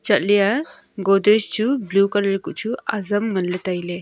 chatleya godrej chu blue colour kuh chu ajam nganla tailey.